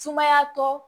Sumayatɔ